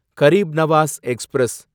Garib Nawaz express